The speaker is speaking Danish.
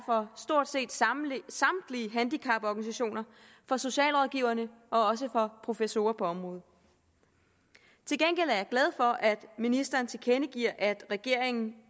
fra stort set samtlige handicaporganisationer fra socialrådgiverne og også fra professorer på området til gengæld er jeg glad for at ministeren tilkendegiver at regeringen